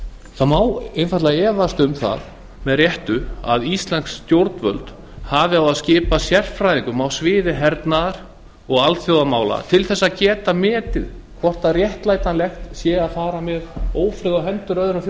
það má einfaldlega efast um það með réttu að íslensk stjórnvöld hafi á að skipa sérfræðingum á sviði hernaðar og alþjóðamála til þess að geta metið hvort réttlætanlegt sé að fara með ófriði á hendur öðrum